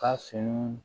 Ka finiw